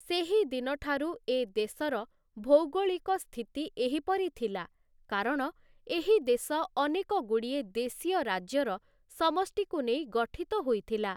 ସେହି ଦିନଠାରୁ ଏ ଦେଶ ଭୌଗୋଳିକ ସ୍ଥିତି ଏହିପରିଥିଲା କାରଣ ଏହି ଦେଶ ଅନେକଗୁଡ଼ିଏ ଦେଶୀୟ ରାଜ୍ୟର ସମଷ୍ଟିକୁ ନେଇ ଗଠିତ ହୋଇଥିଲା ।